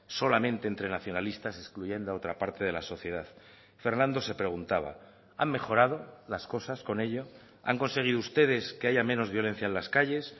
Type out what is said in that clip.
solamente entre nacionalistas excluyendo a otra parte de la sociedad fernando se preguntaba han mejorado las cosas con ello han conseguido ustedes que haya menos violencia en las calles